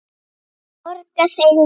Borga þeir vel?